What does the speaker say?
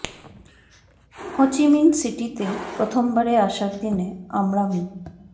হো Chi Minh সিটিতে প্রথমবারে আসার দিনে আমরা মি